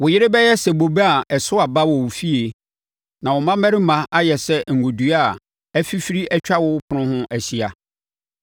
Wo yere bɛyɛ sɛ bobe a ɛso aba wɔ wo fie; na wo mmammarima ayɛ sɛ ngo dua a afifiri atwa wo ɛpono ho ahyia.